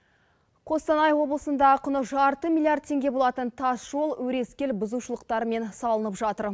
қостанай облысында құны жарты миллиард теңге болатын тас жол өрескел бұзушылықтармен салынып жатыр